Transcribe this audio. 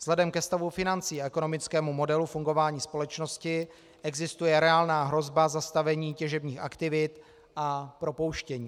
Vzhledem ke stavu financí a ekonomickému modelu fungování společnosti existuje reálná hrozba zastavení těžebních aktivit a propouštění.